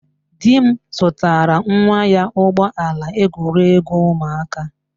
Di m zụtara nwa anyị ụgbọ ala egwuregwu ụmụaka.